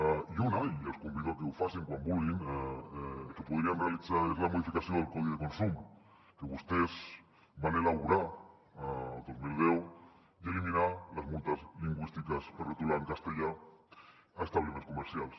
i una i els convido a que ho facin quan vulguin que podrien realitzar és la modificació del codi de consum que vostès van elaborar el dos mil deu i eliminar les multes lingüístiques per retolar en castellà a establiments comercials